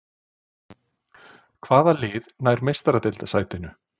Hvaða lið nær Meistaradeildarsætinu?